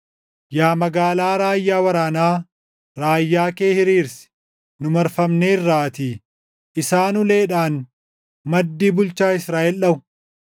Yaa magaalaa raayyaa waraanaa, raayyaa kee hiriirsi; nu marfamneerraatii. Isaan uleedhaan maddii bulchaa Israaʼel dhaʼu.